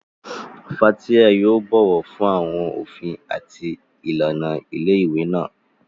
Fathia yóò bọ̀wọ̀ fún àwọn òfin àti ìlànà ilé ìwé náà.